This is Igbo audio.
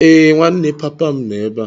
Ee, nwanne papa m nọ ebe a.